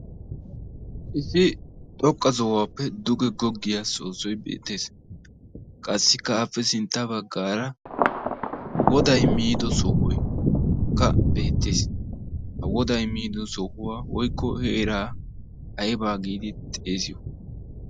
Issi xoqqa sohuwappe duge goggiyaa soosoy beettees. Qassikka appe sintta baggaara wodday miido sohoykka beettees. Ha wodday miido sohuwaa woykko heeraa ayba giidi xeesiyo?